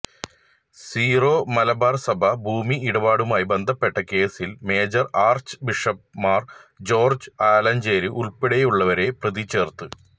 zero Malabar സഭ ഭൂമി ഇടപാടുമായി ബന്ധപ്പെട്ട കേസിൽ major archbishop Mar George Alencherry ഉൾപ്പടെയുള്ളവരെ പ്രതിചേർത്ത്